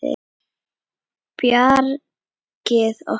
Bjargið okkur!